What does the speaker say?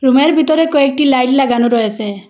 রুমের ভিতরে কয়েকটি লাইট লাগানো রয়েসে।